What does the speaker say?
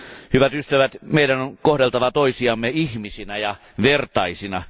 Hyvät ystävät, meidän on kohdeltava toisiamme ihmisinä ja vertaisina.